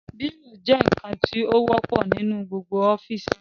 Bírò jẹ́ ǹkan tí ó wọ́pọ̀ nínú gbogbo ọ́fìsì